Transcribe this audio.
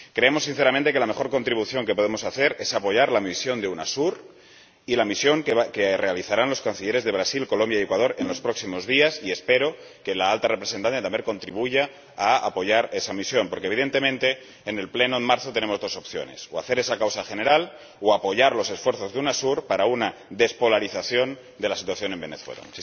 Creemos sinceramente que la mejor contribución que podemos hacer es apoyar la misión de UNASUR y la misión que realizarán los Cancilleres de Brasil, Colombia y Ecuador en los próximos días, y espero que la Alta Representante también contribuya a apoyar esa misión, porque, evidentemente, en el Pleno de marzo tenemos dos opciones o hacer esa causa general o apoyar los esfuerzos de UNASUR para una despolarización de la situación en Venezuela.